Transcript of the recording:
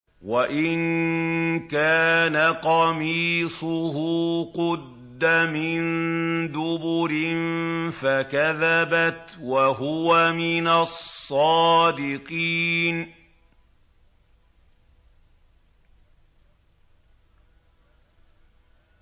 وَإِن كَانَ قَمِيصُهُ قُدَّ مِن دُبُرٍ فَكَذَبَتْ وَهُوَ مِنَ الصَّادِقِينَ